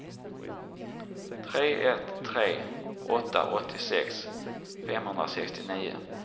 tre ett tre åtta åttiosex femhundrasextionio